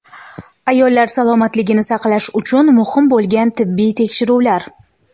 Ayollar salomatligini saqlash uchun muhim bo‘lgan tibbiy tekshiruvlar.